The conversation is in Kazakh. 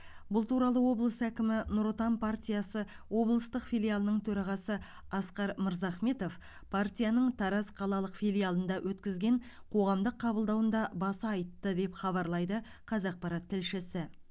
бұл туралы облыс әкімі нұр отан партиясы облыстық филиалының төрағасы асқар мырзахметов партияның тараз қалалық филиалында өткізген қоғамдық қабылдауында баса айтты деп хабарлайды қазақпарат тілшісі